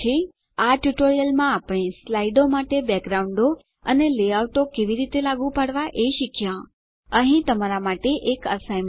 આ ટ્યુટોરીયલમાં આપણે સ્લાઇડો માટે બેકગ્રાઉન્ડો અને લેઆઉટો કેવી રીતે લાગુ પાડવા એ શીખ્યા અહીં તમારા માટે એક એસાઇનમેંટ છે